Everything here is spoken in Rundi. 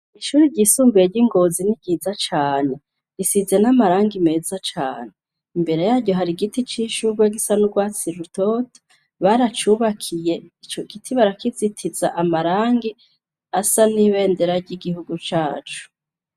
Ishuri ry'isumbuye ry'ingozi n'iryiza cane risize n'amarangi meza cane imbere yayo hari giti c'ishurwe gisa nurwatsirutot baracubakiye ico giti barakizitiza amarangi asa n'ibendera ry'igihugu cacu..